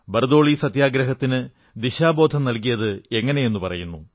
ബർദോളി സത്യാഗ്രഹത്തിന് ദിശാബോധം നൽകിയത് എങ്ങനെയെന്നും പറയുന്നു